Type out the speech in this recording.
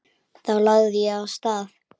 Þá lagði ég af stað.